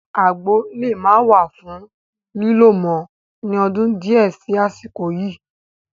Àgbo le maa wà fún lílo mọ ni ọdún di ẹ sì àsìkò yìí